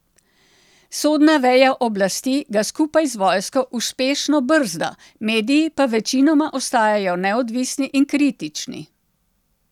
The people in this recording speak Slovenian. Sodna veja oblasti ga skupaj z vojsko uspešno brzda, mediji pa večinoma ostajajo neodvisni in kritični.